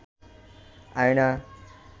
আয়না